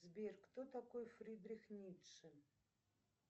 сбер кто такой фридрих ницше